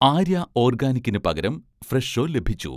ആര്യ' ഓർഗാനിക്കിന് പകരം 'ഫ്രെഷോ' ലഭിച്ചു